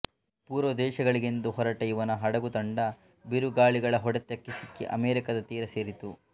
ಪೂರ್ವದೇಶಗಳಿಗೆಂದು ಹೊರಟ ಇವನ ಹಡಗುತಂಡ ಬಿರುಗಾಳಿಗಳ ಹೊಡೆತಕ್ಕೆ ಸಿಕ್ಕಿ ಅಮೆರಿಕದ ತೀರ ಸೇರಿತು